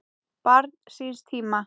Barn síns tíma?